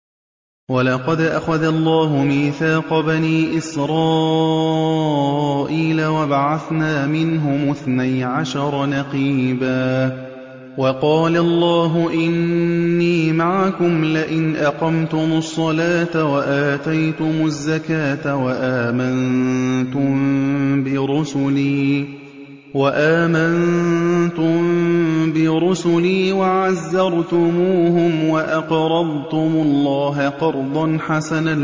۞ وَلَقَدْ أَخَذَ اللَّهُ مِيثَاقَ بَنِي إِسْرَائِيلَ وَبَعَثْنَا مِنْهُمُ اثْنَيْ عَشَرَ نَقِيبًا ۖ وَقَالَ اللَّهُ إِنِّي مَعَكُمْ ۖ لَئِنْ أَقَمْتُمُ الصَّلَاةَ وَآتَيْتُمُ الزَّكَاةَ وَآمَنتُم بِرُسُلِي وَعَزَّرْتُمُوهُمْ وَأَقْرَضْتُمُ اللَّهَ قَرْضًا حَسَنًا